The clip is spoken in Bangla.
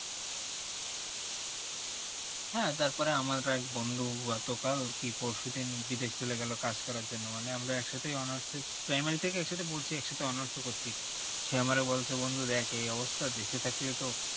হ্যাঁ তারপরে আমার এক বন্ধু হুয়া তো কাল কি পরশু দিন বিদেশ চলে গেলো কাজ করার জন্য মানে আমার একসাথে honours এর primary থেকে পড়ছি একসাথে honours করছি সে আমারও বয়সী বন্ধু একে তো এই অবস্থা দেশে থাকলে তো